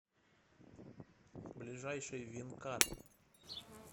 ближайший винкар